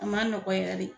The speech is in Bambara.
A ma nɔgɔ yɛrɛ de